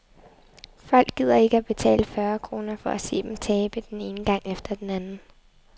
Folk gider ikke at betale fyrre kroner for at se dem tabe den ene gang efter den anden.